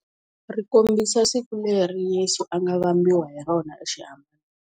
Ri kombisa siku leri Yesu a nga vambiwa hi rona exihaban'weni.